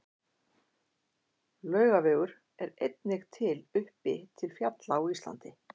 Laugavegur er einnig til uppi til fjalla á Íslandi.